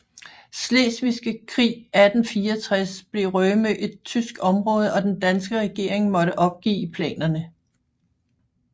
Slesvigske Krig 1864 blev Rømø et tysk område og den danske regering måtte opgive planerne